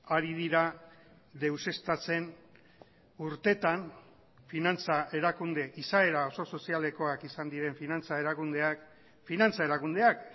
ari dira deuseztatzen urtetan finantza erakunde izaera oso sozialekoak izan diren finantza erakundeak finantza erakundeak